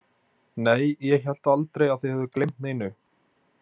Nei, ég hélt aldrei að þið hefðuð gleymt neinu.